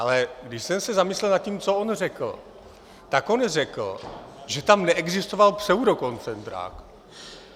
Ale když jsem se zamyslel na tím, co on řekl, tak on řekl, že tam neexistoval pseudokoncentrák.